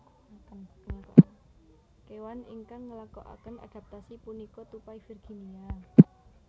Kewan ingkang ngelakoaken adaptasi punika tupai Virginia